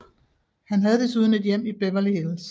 Han havde desuden et hjem i Beverly Hills